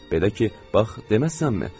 Belə ki, bax deməzsənmi?